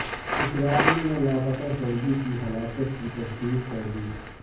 اسرائیل نے لاپتہ فوجی کی ہلاکت کی تصدیق کر دی